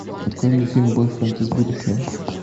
открой мне фильм бойфренд из будущего